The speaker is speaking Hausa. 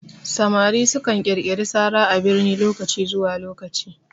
Samari su kan ƙirƙiri sara a birni lokaci zuwa lokaci